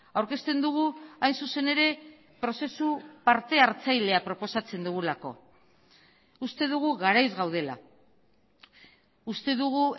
aurkezten dugu hain zuzen ere prozesu partehartzailea proposatzen dugulako uste dugu garaiz gaudela uste dugu